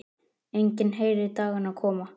Enginn heyrir dagana koma.